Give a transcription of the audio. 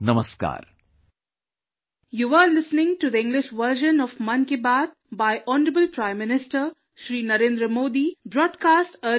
Namaskar